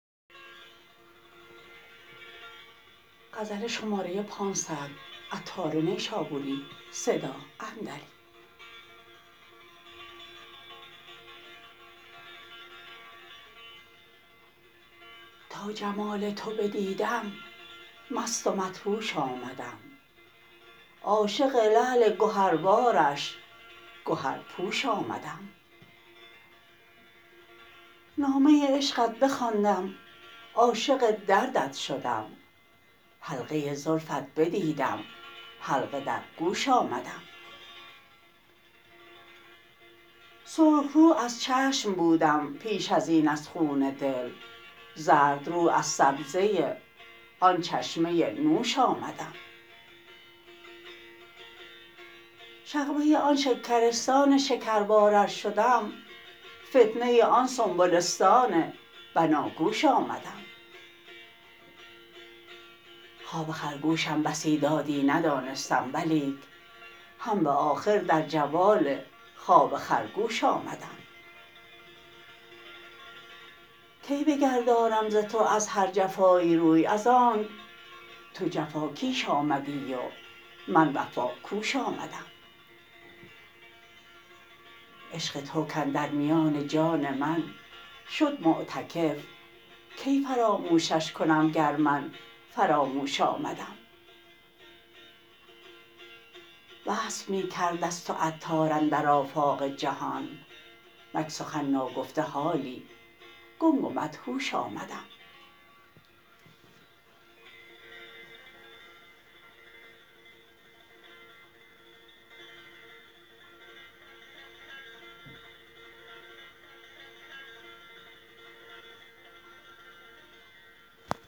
تا جمال تو بدیدم مست و مدهوش آمدم عاشق لعل شکربارش گهر پوش آمدم نامه عشقت بخواندم عاشق دردت شدم حلقه زلفت بدیدم حلقه در گوش آمدم سرخ رو از چشم بودم پیش ازین از خون دل زردرو از سبزه آن چشمه نوش آمدم شغبه آن شکرستان شکربار ار شدم فتنه آن سنبلستان بناگوش آمدم خواب خرگوشم بسی دادی ندانستم ولیک هم به آخر در جوال خواب خرگوش آمدم کی بگردانم ز تو از هر جفایی روی از آنک تو جفا کیش آمدی و من وفا کوش آمدم عشق تو کاندر میان جان من شد معتکف کی فراموشش کنم گر من فراموش آمدم وصف می کرد از تو عطار اندر آفاق جهان نک سخن ناگفته حالی گنگ و مدهوش آمدم